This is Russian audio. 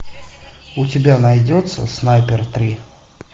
у тебя найдется снайпер три